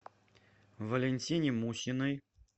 валентине мусиной